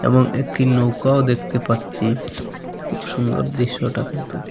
এবং একটি নৌকাও দেখতে পাচ্ছি খুব সুন্দর দৃশ্যটা কিন্তু।